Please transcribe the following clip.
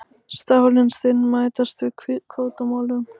Stálin stinn mætast yfir kvótamálum